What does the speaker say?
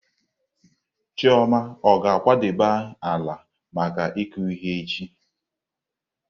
Chioma ọ ga-akwadebe ala maka ịkụ ihe echi?